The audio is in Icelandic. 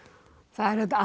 það er auðvitað